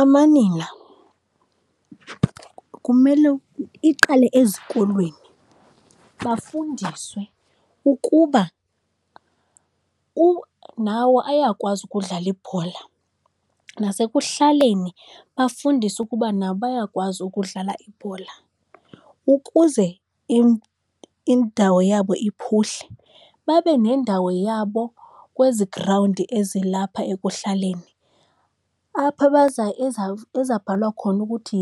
Amanina kumele iqale ezikolweni bafundiswe ukuba nawo ayakwazi ukudlala ibhola. Nasekuhlaleni bafundiswe ukuba nabo bayakwazi ukudlala ibhola, ukuze indawo yabo iphuhle babe nendawo yabo kwezi grawundi ezilapha ekuhlaleni, apho ezabhalwa khona ukuthi